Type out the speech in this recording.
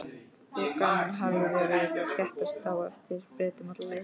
Þokan hafði verið að þéttast á eftir Bretum alla leiðina.